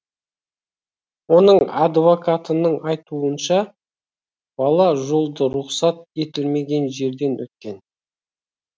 оның адвокатының айтуынша бала жолды рұқсат етілмеген жерден өткен